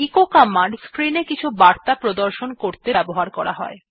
এই কমান্ডটি স্ক্রিন এ কিছু বার্তা প্রদর্শন করতে ব্যবহার করা হয়